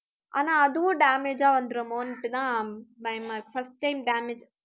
ஆனா, அதுவும் damage ஆ வந்துருமோன்னுட்டு தான், பயமா இருக்கு. first time damage